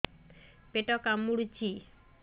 ପେଟ କାମୁଡୁଛି